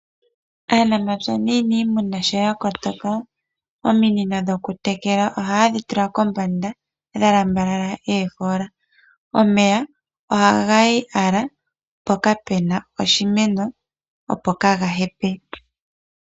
Aanamapya nuuniimuna sho yakotoka ominino dhokutekela ohayedhi tula kombanda dhalambalala oofoola. Omeya ohagayi owala mpoka pena oshimeno opo gaahepe.